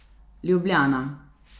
Ljubljana.